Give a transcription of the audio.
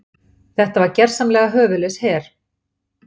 Þetta var gersamlega höfuðlaus her.